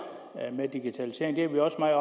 og digitalisering det er vi også meget